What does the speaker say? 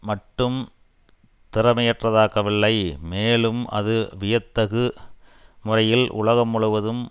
மட்டும் திறமையற்றதாக்கவில்லை மேலும் அது வியத்தகு முறையில் உலகம் முழுவதும்